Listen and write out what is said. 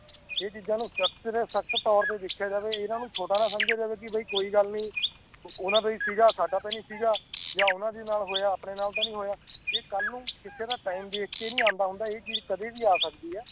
ਇਹ ਚੀਜਾਂ ਨੂੰ ਸਖਤ ਤੋਰ ਤੇ ਦੇਖਿਆ ਜਾਵੇ ਇਨ੍ਹਾਂ ਨੂੰ ਛੋਟਾ ਨਾ ਸਮਜਿਆ ਜਾਵੇ ਕਿ ਬਹਿ ਕੋਈ ਗੱਲ ਨਹੀਂ ਉਨ੍ਹਾਂ ਦਾ ਸੀਗਾ ਸਾਡਾ ਤਾ ਨਾ ਸੀਗਾ ਯਾ ਉਹਨਾਂ ਨਾਲ ਹੋਇਆ ਆਪਣੇ ਨਾਲ ਤਾ ਨਹੀਂ ਹੋਇਆ ਇਹ ਕੱਲ ਨੂੰ ਕਿਸੇ ਦਾ ਟਾਈਮ ਦੇਖਕੇ ਨਹੀਂ ਆਂਦਾ ਹੁੰਦਾ ਇਹ ਚੀਜ ਕਦੇ ਵੀ ਆ ਸਕਦੀ ਹੈ